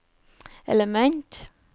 element